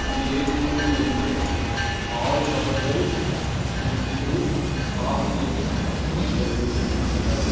இந்த ஏ_டி_எம் இன் உள்ளே ஆறு நபர்கள் நின்று காசு எடுத்துக் கொண்டிருக்கின்றனர்.